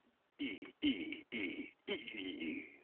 и и и ии